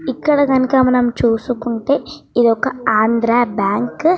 ఇక్కడ కనక మనం చూసుకుంటే ఇది ఒక ఆంధ్రా బ్యాంక్ .